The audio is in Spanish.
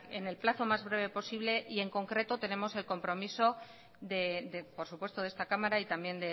en el plazo más breve posible y en concreto tenemos el compromiso de por supuesto de esta cámara y también